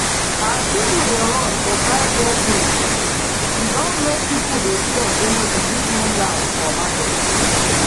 as people dey rush to buy rare things e don make people dey fear say e fit no last for market.